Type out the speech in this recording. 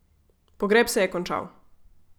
Pogreb se je končal.